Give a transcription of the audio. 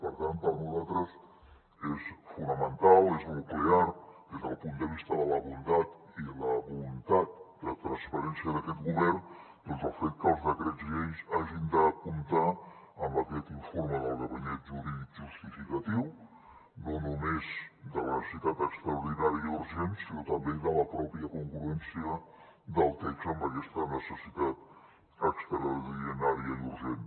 per tant per nosaltres és fonamental és nuclear des del punt de vista de la bondat i la voluntat de transparència d’aquest govern doncs el fet que els decrets lleis hagin de comptar amb aquest informe del gabinet jurídic justificatiu no només de la necessitat extraordinària i urgent sinó també de la pròpia congruència del text amb aquesta necessitat extraordinària i urgent